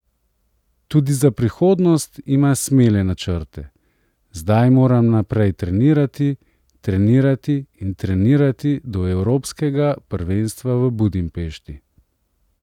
Tudi za prihodnost ima smele načrte: "Zdaj moram naprej trenirati, trenirati in trenirati do evropskega prvenstva v Budimpešti.